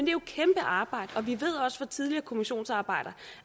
jo et kæmpe arbejde og vi ved også fra tidligere kommissionsarbejder